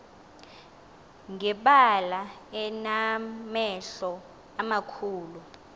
ngebala enamehlo amakhulu